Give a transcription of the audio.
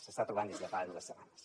s’està trobant des de fa dues setmanes